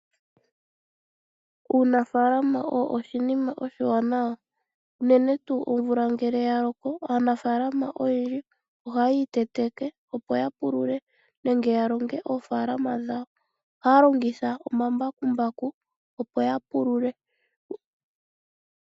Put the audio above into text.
Uunafalama owo oshinima oshiwanawa unene tuu omvula ngele ya loko aanafalama oyendji ohayi iteteke opo ya pulule nenge ya longe oofalama dhayo. Ohaya longitha omambakumbaku opo ya pulule.